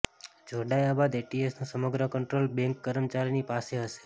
જોડાયા બાદ એટીએમનું સમગ્ર કંટ્રોલ બેંક કર્મચારીની પાસે હશે